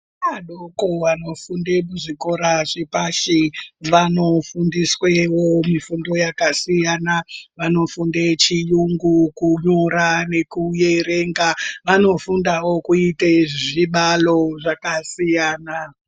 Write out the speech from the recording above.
Ana adoko vanofunde muzvikora zvepashi vanofundiswewo mifundo yakasiyana vanofunde chiyungu kunyora nekuerenga vanofundawo kuite zvibalo zvakasiyana.